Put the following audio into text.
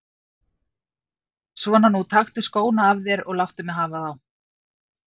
Svona nú, taktu skóna af þér og láttu mig hafa þá.